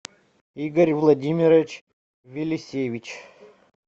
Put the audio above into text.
игорь владимирович велисевич